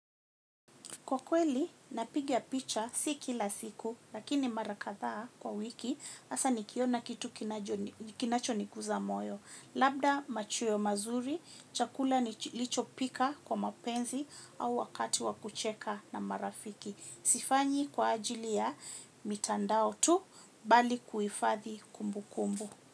Kwa kweli, napiga picha si kila siku, lakini mara kadhaa kwa wiki, hasa nikiona kitu kinacho niguza moyo. Labda machweo mazuri, chakula nilicho pika kwa mapenzi au wakati wa kucheka na marafiki. Sifanyi kwa ajili ya mitandao tu, bali kuhifathi kumbukumbu.